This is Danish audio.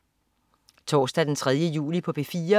Torsdag den 3. juli - P4: